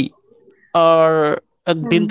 আর একদিন তোর